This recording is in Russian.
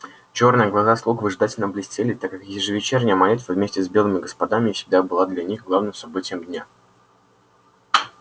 чёрные глаза слуг выжидательно блестели так как ежевечерняя молитва вместе с белыми господами всегда была для них главным событием дня